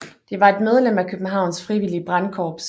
Det var et medlem af Københavns frivillige brandkorps